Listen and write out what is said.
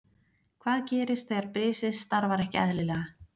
Hvað gerist þegar brisið starfar ekki eðlilega?